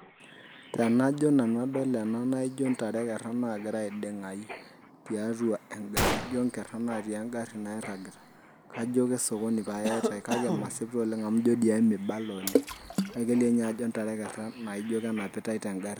Tenajo nanu adol ena naijo ntare ekerea nagira aiding'ayu tiatua egarri. Jo nkerra natii egarri nairragita, kajo kesokoni pae eitai. Kake masip toleng' amu ijo emibala oleng. Kake kelio nye ajo ntare ekerra naijo kenapitai tegarri.